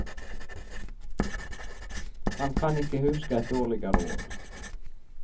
Han kan ikke huske et dårligere år.